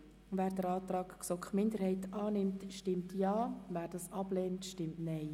Wer den Antrag GSoK-Minderheit annimmt, stimmt Ja, wer diesen ablehnt, stimmt Nein.